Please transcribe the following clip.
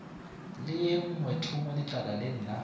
le ye nngweethongwe letlakaleng la